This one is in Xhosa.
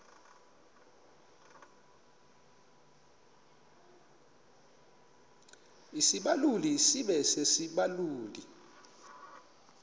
isibaluli sibe sisibaluli